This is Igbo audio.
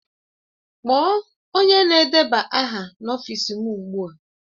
Kpọọ onye na-edeba aha n'ọfịs m ugbu a!